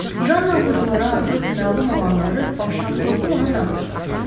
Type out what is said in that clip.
Janna oxuculara artıq məlum olanları başdan sovdu ona danışdı.